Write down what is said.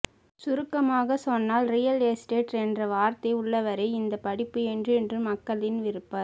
சுருக்கமாக சொன்னால் real estate என்ற வார்த்தை உள்ளவரை இந்த படிப்பு என்றென்றும் மக்களின் விருப்ப